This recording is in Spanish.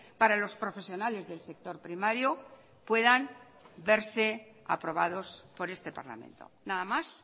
para los profesionales del sector primario puedan verse aprobados por este parlamento nada más